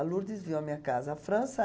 A Lourdes viu a minha casa. A França